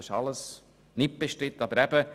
Dies ist alles unbestritten, aber eben.